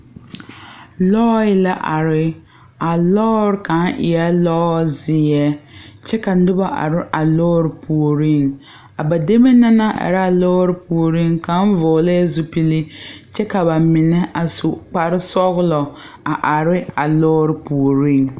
Lɔɛ la are a lɔɔre kaŋa e la lɔzeɛ kyɛ ka noba are a lɔɔre puoriŋ a ba demee na naŋ are a lɔɔre puoriŋ kaŋ vɔgle la zupili kyɛ ka ba mine a su kparesɔglɔ a are a lɔɔre puoriŋ.